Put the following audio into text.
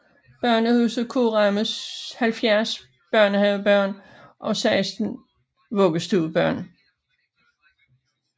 Børnehuset kan rumme 70 børnehavebørn og 16 vuggestuebørn